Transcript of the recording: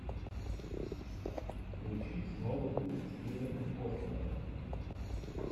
включи снова ты с кевином костнером